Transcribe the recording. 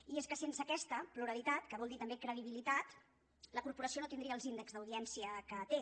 i és que sense aquesta pluralitat que vol dir també credibilitat la corporació no tindria els índexs d’audiència que té